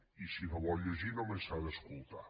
i si no ho vol llegir només s’ha d’escoltar